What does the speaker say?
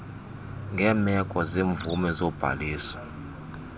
ngeemeko zemvume nobhaliso